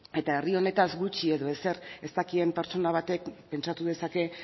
eta herri honetaz gutxi edo ezer ez dakien pertsona batek pentsatu dezake